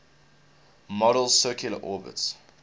model's circular orbits